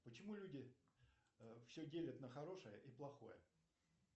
почему люди все делят на хорошее и плохое